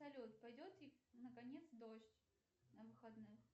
салют пойдет ли наконец дождь на выходных